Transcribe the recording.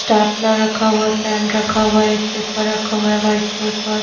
stapler रखा हुआ है पेन रखा हुआ है पेपर रखा हुआ है व्हाइट पेपर --